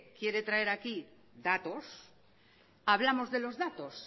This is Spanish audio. quiere traer aquí datos hablamos de los datos